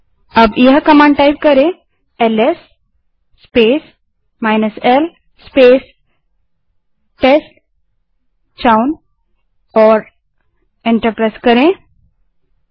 अब command LS space l space test chown that is t e s t c h o w N type करें और enter दबायें